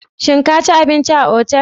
Shin ka ci abinci a otal?